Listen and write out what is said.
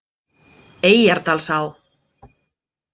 Eyjardalsá